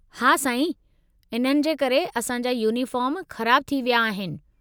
हा साईं, इन्हनि जे करे असां जा यूनीफ़ार्म ख़राबु थी विया आहिनि।